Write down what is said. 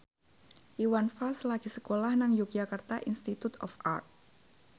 Iwan Fals lagi sekolah nang Yogyakarta Institute of Art